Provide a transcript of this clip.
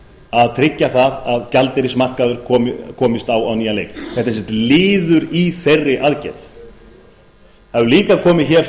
að tryggja að gjaldeyrismarkaður komist á á nýjan leik þetta er sem sagt liður í þeirri aðgerð það hefur líka komið hér